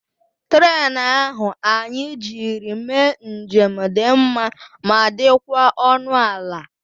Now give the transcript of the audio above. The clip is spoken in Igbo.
Trén ahụ anyị jiri mee njem dị mma ma dịkwa ọnụ ala